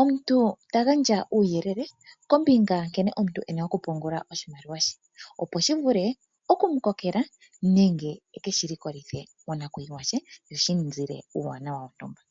omuntu ta gandja uuyelele kombinga yankene omuntu e na okupungula oshimaliwa she, opo shi vule okumu kokela nenge e keshi likolithe monakuyiwa sho shi mu zile uuwanawa wontumba.